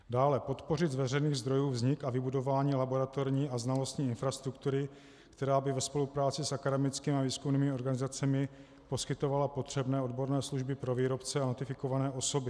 Dále podpořit z veřejných zdrojů vznik a vybudování laboratorní a znalostní infrastruktury, která by ve spolupráci s akademickými a výzkumnými organizacemi poskytovala potřebné odborné služby pro výrobce a ratifikované osoby.